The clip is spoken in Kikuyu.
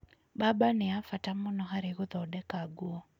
Mbamba nĩ ya bata mũno harĩ gũthondeka nguo.